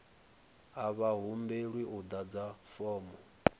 a vha humbelwi u ḓadza fomo